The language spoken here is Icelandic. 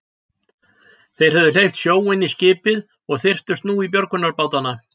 Þeir höfðu hleypt sjó inn í skipið og þyrptust nú í björgunarbátana.